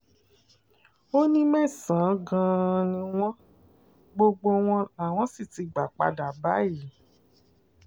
ó ní mẹ́sàn-án gan-an ni wọ́n gbogbo wọn làwọn sì ti gbà padà báyìí